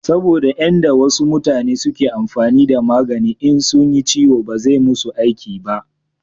saboda yan da wasu mutane suke amfani da magani in sunyi ciwo ba zai musu aiki ba